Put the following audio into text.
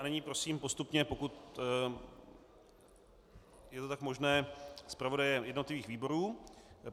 A nyní prosím postupně, pokud je to tak možné, zpravodaje jednotlivých výborů.